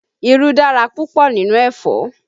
Irú dára púpọ̀ nínú ẹ̀fọ́